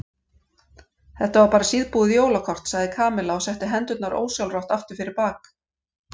Þetta var bara síðbúið jólakort sagði Kamilla og setti hendurnar ósjálfrátt aftur fyrir bak.